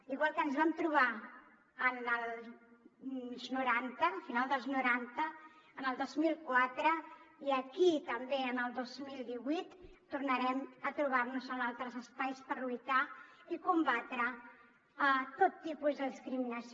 igual que ens vam trobar a final dels noranta en el dos mil quatre i aquí també en el dos mil divuit tornarem a trobar nos en altres espais per lluitar i combatre tot tipus de discriminació